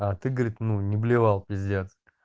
а ты говорит ну не блевал пиздец